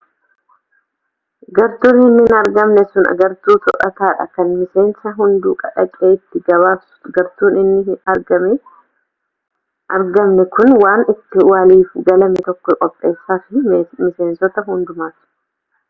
gartuun hin argamne sun gartuu to'ata dha kan miseensi hunduu dhaqee itti gabaasu gartuun hin argamne kun waan itti waliif galame tokko qopheessafi miseensota hundumaaf